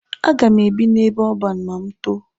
A ga m ebi n'ebe ọban ma m too.